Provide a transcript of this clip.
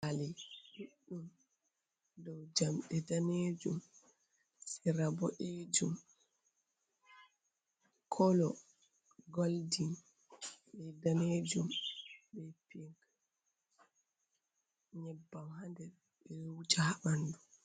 Pali ɗuɗdum dow jamɗe ɗanejum, sera boɗejum, kolo golding be ɗanejum, be pic, nyeɓɓam ha nder ɓe ɗo wuja ha ɓanɗu.